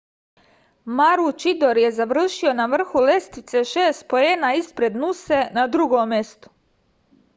maručidor je završio na vrhu lestvice šest poena ispred nuse na drugom mestu